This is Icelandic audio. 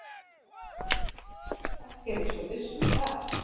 Ekki er ég svo viss um það.